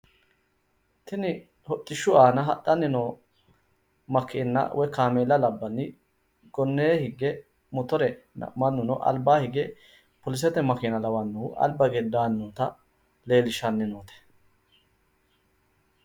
Tini hodhishshu aana hadhanni noo makeenna woyi kameela labbanni gonnee higge motorenna mannuno albaa hige polisete makeena lawannohu alba hige daanni noota leellishshannote.